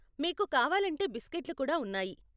మీకు కావాలంటే బిస్కట్లు కూడా ఉన్నాయి.